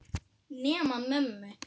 Nema mömmu.